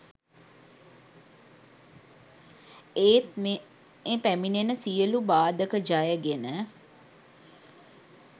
ඒත් මේ පැමිණෙන සියලු බාධක ජය ගෙන